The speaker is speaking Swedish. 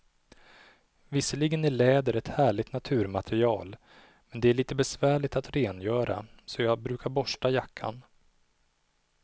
Visserligen är läder ett härligt naturmaterial, men det är lite besvärligt att rengöra, så jag brukar borsta jackan.